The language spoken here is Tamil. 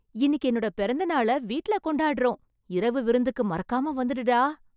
இன்னிக்கு என்னோட பொறந்த நாள வீட்டுல கொண்டாடறோம்... இரவு விருந்துக்கு மறக்காம வந்துடுடா.